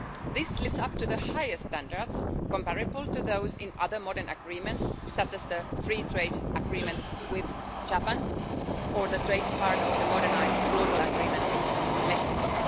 This lives up to the highest standards, comparable to those in other modern agreements, such as the Free Trade Agreement with Japan or the trade part of the modernised Global Agreement with Mexico.